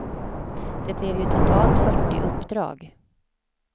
Det blev ju totalt fyrtio uppdrag.